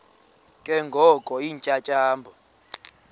ke ngoko iintyatyambo